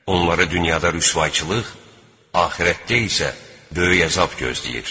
Onlara dünyada rüsvayçılıq, axirətdə isə böyük əzab gözləyir.